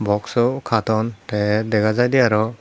boxsow katon tay dagajaiday arow.